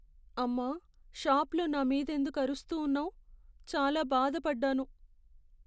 అమ్మా! షాప్లో నా మీదెందుకు అరుస్తూ ఉన్నావు, చాలా బాధపడ్డాను.